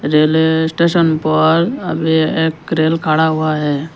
Railway station पर अभी एक रेल खड़ा हुआ है।